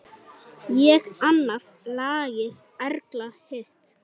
Ég annað lagið, Erla hitt!